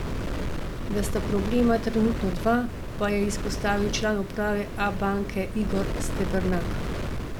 Da sta problema trenutno dva, pa je izpostavil član uprave Abanke Igor Stebernak.